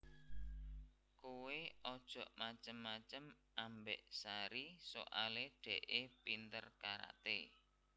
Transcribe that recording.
Kowe ojok macem macem ambek Sari soale dekke pinter karate